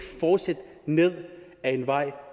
fortsætte ned ad en vej